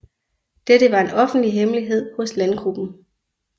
Dette var en offentlig hemmelighed hos landgruppen